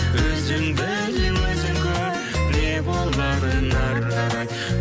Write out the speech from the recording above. өзің біл өзің көр не боларын ары қарай